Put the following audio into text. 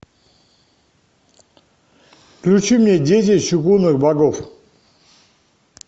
включи мне дети чугунных богов